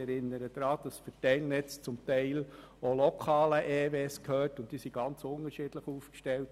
Ich erinnere daran, dass die Verteilnetze teilweise lokalen Elektrizitätswerken gehören, und diese sind unterschiedlich aufgestellt.